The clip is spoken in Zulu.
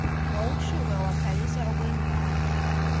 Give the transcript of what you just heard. wawushuka wakhalisa okwengane